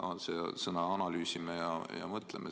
On seal sõnad "analüüsime" ja "mõtleme"?